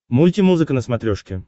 мульти музыка на смотрешке